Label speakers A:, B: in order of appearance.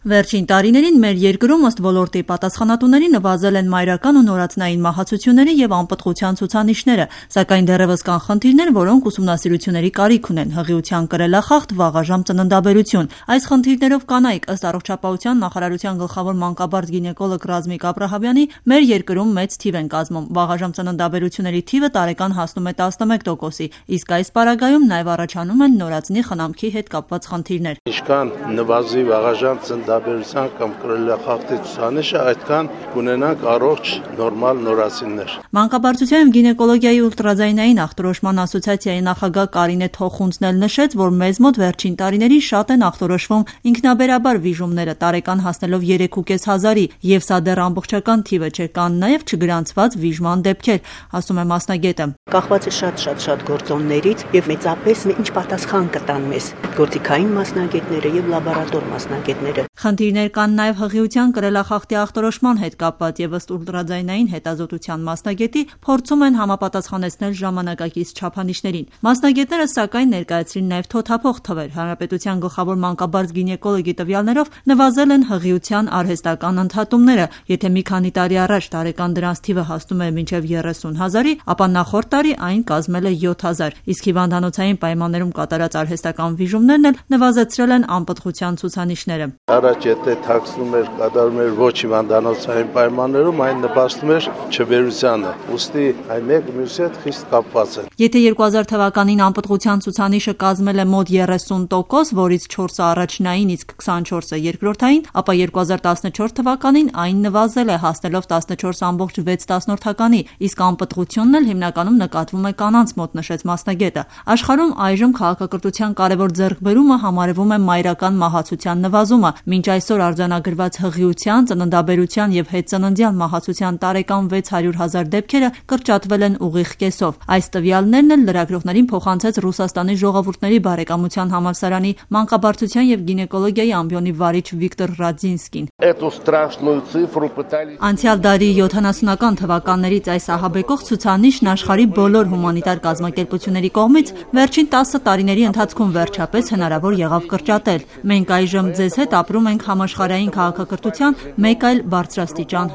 A: Վերջին տարիներին մեր երկրում, ըստ ոլորտի պատասխանատուների, նվազել են մայրական ու նորածնային մահացությունների և անպտղության ցուցանիշները: Սակայն դեռևս կան խնդիրներ, որոնք ուսումնասիրությունների կարիք ունեն: Հղիության կրելախախտ, վաղաժամ ծննդաբերություն: Այս խնդիրներով կանայք, ըստ առողջապահության նախարարության գլխավոր մանկաբարձ- գինեկոլոգ Ռազմիկ Աբրահամյանի, մեր երկրում մեծ թիվ են կազմում: Վաղաժամ ծննդաբերությունների թիվը տարեկան հասնում է 11 տոկոսի: Իսկ այս պարագայում նաև առաջանում են նորածնի խնամքի հետ կապված խնդիրներ:
B: «Ինչքան նվազեն վաղաժամ ծննդաբերության կամ կրելախախտի դեպքերը, այդքան կունենանք առողջ նորածիններ»:
A: Մանկաբարձության և գինեկոլոգիայի ուլտրաձայնային ախտորոշման ասոցիացիայի նախագահ Կարինե Թոխունցն էլ նշեց, որ մեզ մոտ վերջին տարիներին շատ են ախտորոշվում ինքնաբերաբար վիժումները՝ տարեկան հասնելով 3.5 հազարի և սա դեռ ամբողջական թիվը չէ: Կան նաև չգրանցված վիժման դեպքեր, ասում է մասնագետը: «Սա էլ կապված է շատ ու տարբեր գործոնների հետ; Իսկ մեծապես կապված է ախտորոշման և լաբորատոր մասնագետների պատասխաններից»: Խնդիրներ կան նաև հղիության կրելախախտի ախտորոշման հետ կապված և ըստ, ուլտրաձայնային հետռազոտության մասնագետի, փորձում են համապատասխանեցնել ժամանակակից չափանիշներին: Մասնագետները, սակայն, ներկայացրին նաև թոթափող թվեր: Հանրապետության գլխավոր մանկաբարձ-գինեկոլոգի տվյալներով՝ նվազել են հղիության արհեստական ընդհատումները: Եթե մի քանի տարի առաջ տարեկան դրանց թիվը հասնում էր մինչև 30 հազարի, ապա նախորդ տարի այն կազմել է 7000: Իսկ հիվանդանոցային պայմաններում կատարած արհեստական վիժումներն էլ նվազեցրել են անպտղության ցուցանիշները:
B: «Առաջ եթե թաքցվում էր, վիժումները կատարվում էր ոչ հիվանդանոցային պայմաններում, դա էլ նպաստում էր չբերությանը, մեկը մյուսի հետ կապված է»:
A: 2000 թվականին անպտղության ցուցանիշը կազմել է մոտ 30 տոկոս, որից 4-ը առաջնային, իսկ 24-ը՝ երկրորդային, ապա 2014 թվականին այն նվազել է՝ հասնելով 14.6-ի, իսկ անպտղությունն էլ հինականում նկատվում է կանանց մոտ, նշեց մասնագետը: Աշխարհում այժմ քաղաքակրթության կարևոր ձեռքբերումը համարվում է մայրական մահացության նվազումը. մինչև այսօր արձանագրված հղիության, ծննդաբերության և հետծննդյան մահացության տարեկան 600 հազար դեպքերը կրճատվել են ուղիղ կեսով: Այս տվյալներն էլ լրագրողներին փոխանցեց Ռուսաստանի ժողովուրդների բարեկամության համալսարանի մանկաբարձության և գինեկոլոգիայի ամբիոնի վարիչ Վիկտոր Ռադզինսկին: «Անցյալ դարի 70-ական թվականներից այս ահաբեկող ցուցանիշը աշխարհի բոլոր հումանիտար կազմակերպությունների կողմից վերջին 10 տարիների ընթացքում վերջապես հնարավոր եղավ կրճատել: Մենք այժմ ձեզ հետ ապրում ենք համաշխարհային քաղաքակրթության մեկ այլ բարձրաստիճան